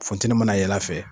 Funtɛni mana yɛlɛ a fɛ.